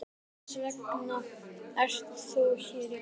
Ásgeir: Hvers vegna ert þú hér í dag?